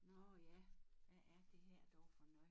Nå ja hvad er det her dog for noget